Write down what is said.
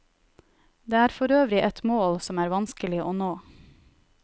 Det er forøvrig et mål som er vanskelig å nå.